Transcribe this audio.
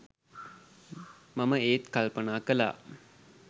මම ඒත් කල්පනා කලා